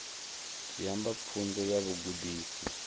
zwi amba pfunzo ya vhugudisi